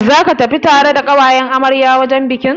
Zaka tafi tare da ƙawayen amaryar wajen bikin?